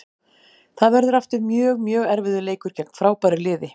Það verður aftur mjög, mjög erfiður leikur gegn frábæru liði.